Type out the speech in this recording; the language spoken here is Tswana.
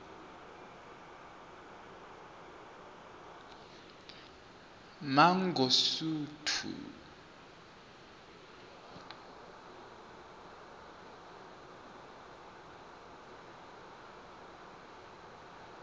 mangosuthu